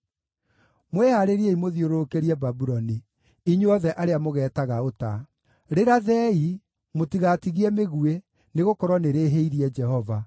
“Mwĩhaarĩrie mũthiũrũrũkĩrie Babuloni, inyuothe arĩa mũgeetaga ũta. Rĩrathei! Mũtigatigie mĩguĩ, nĩgũkorwo nĩrĩĩhĩirie Jehova.